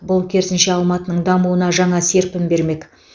бұл керісінше алматының дамуына жаңа серпін бермек